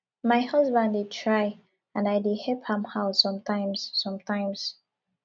my husband dey try and i dey help am out sometimes sometimes